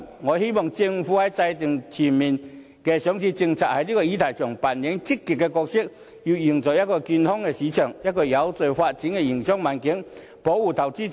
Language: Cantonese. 我希望政府在制訂全面上市政策的議題上扮演積極的角色，要營造一個健康的市場，一個有序發展的營商環境，以及保障投資者。